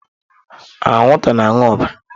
Anwụnta na-aṅụ ọbara.